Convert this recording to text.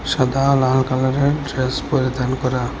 সাদা ও লাল কালারের ড্রেস পরিধান করা।